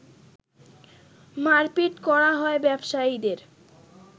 মারপিট করা হয় ব্যবসায়ীদের